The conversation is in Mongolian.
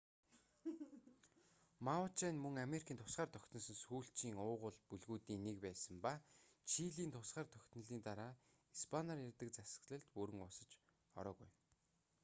мапуче нь мөн америкийн тусгаар тогтносон сүүлчийн уугуул бүлгүүдийн нэг байсан ба чилийн тусгаар тогтнолын дараа испаниар ярьдаг засаглалд бүрэн уусаж ороогүй байна